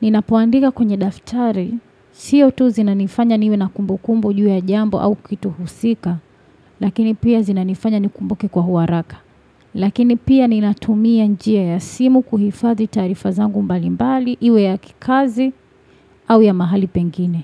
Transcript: Ninapoandika kwenye daftari, sio tu zinanifanya niwe na kumbukumbu juu ya jambo au kitu husika, lakini pia zinanifanya nikumbuke kwa uharaka. Lakini pia ninatumia njia ya simu kuhifadhi taarifa zangu mbalimbali, iwe ya kikazi au ya mahali pengine.